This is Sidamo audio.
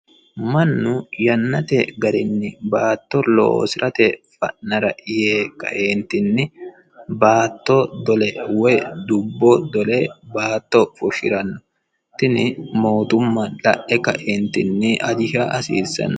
Mannu yannate garinni baatto loosirate fa'nara yee kaeetinni dubbo dole baatto fushiranno. Tinne mootumma la'e kae ajisha hasiissanno.